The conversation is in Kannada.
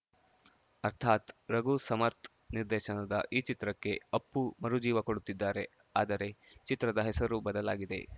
ಅರ್ಥಾತ್‌ ರಘು ಸಮರ್ಥ್ ನಿರ್ದೇಶನದ ಈ ಚಿತ್ರಕ್ಕೆ ಅಪ್ಪು ಮರು ಜೀವ ಕೊಡುತ್ತಿದ್ದಾರೆ ಆದರೆ ಚಿತ್ರದ ಹೆಸರು ಬದಲಾಗಿದೆ